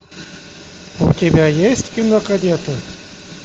у тебя есть кино кадеты